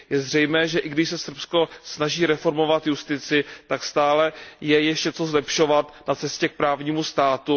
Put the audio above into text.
Je zřejmé, že i když se Srbsko snaží reformovat justici, tak stále je ještě co zlepšovat na cestě k právnímu státu.